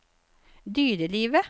dyrelivet